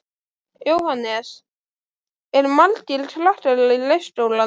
Jóhannes: Eru margir krakkar í leikskólanum?